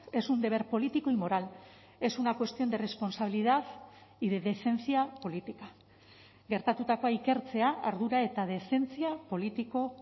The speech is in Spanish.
es un deber político y moral es una cuestión de responsabilidad y de decencia política gertatutakoa ikertzea ardura eta dezentzia politiko